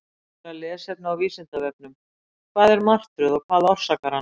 Frekara lesefni á Vísindavefnum: Hvað er martröð og hvað orsakar hana?